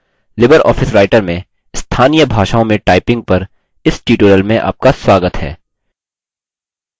नमस्कार LibreOffice writer में स्थानीय भाषाओं में typing typing in local languages पर इस tutorial में आपका स्वागत है